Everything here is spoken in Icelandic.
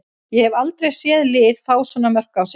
Ég hef aldrei séð lið fá svona mörk á sig.